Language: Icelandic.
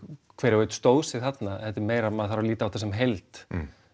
hver og einn stóð sig þarna þetta er meira að maður þarf að líta á þetta sem heild